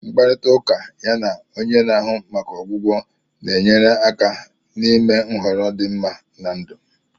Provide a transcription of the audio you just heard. Mkparịta ụka ya na onye na-ahụ maka ọgwụgwọ na-enyere aka n'ime nhọrọ dị mma na ndụ